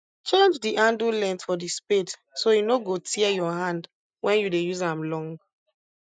change the handle length for the spade so e no go tear your hand when you dey use am long